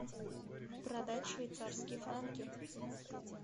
продать швейцарские франки